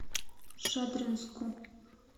шадринску